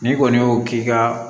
N'i kɔni y'o k'i ka